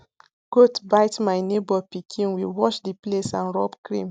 goat bite my neighbour pikin we wash the place and rub cream